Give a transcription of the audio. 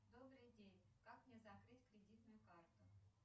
добрый день как мне закрыть кредитную карту